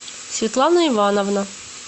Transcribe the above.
светлана ивановна